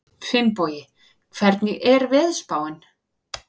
Finnbogi, hvernig er veðurspáin?